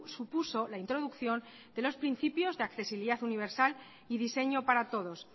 supuso la introducción de los principios de accesibilidad universal y diseño para todos